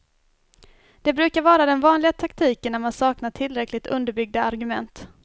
Det brukar vara den vanliga taktiken när man saknar tillräckligt underbyggda argument.